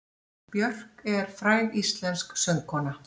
Björk er fræg íslensk söngkona.